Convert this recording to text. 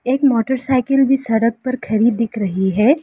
एक मोटरसाइकिल भी सड़क पर खड़ी दिख रही है।